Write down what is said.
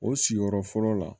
O sigiyɔrɔ fɔlɔ la